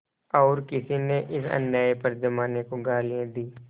और किसी ने इस अन्याय पर जमाने को गालियाँ दीं